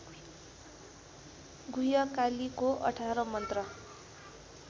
गुह्यकालीको १८ मन्त्र